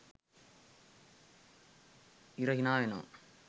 ඉර හිනාවෙනවා